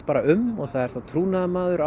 um það er þá trúnaðarmaður